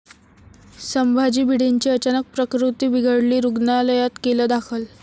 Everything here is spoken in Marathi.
संभाजी भिडेंची अचानक प्रकृती बिघडली, रुग्णालयात केलं दाखल